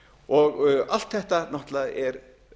fóru allt þetta náttúrlega er